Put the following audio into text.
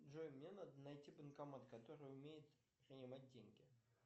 джой мне надо найти банкомат который умеет принимать деньги